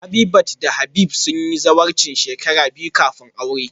Habitat da Habib sun yi zawarcin shekara biyu kafin su yi aure